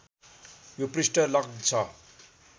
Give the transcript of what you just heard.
यो पृष्ठ लक्ड् छ